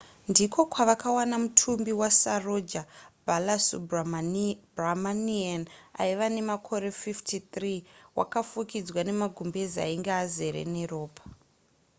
ndiko kwavakawana mutumbi wasaroja balasubramanian aiva nemakore 53 wakafukidzwa nemagumbeze ainge azere neropa